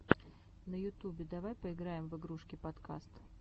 на ютюбе давай поиграем в игрушки подкаст